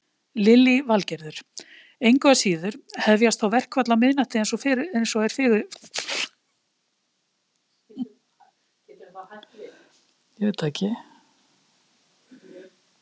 Lillý Valgerður: Engu að síður hefjast þá verkföll á miðnætti eins og er fyrirhugað?